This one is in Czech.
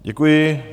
Děkuji.